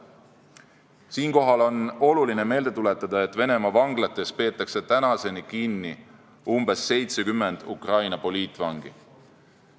Siinkohal on oluline meelde tuletada, et Venemaa vanglates peetakse kinni umbes 70 Ukraina poliitvangi.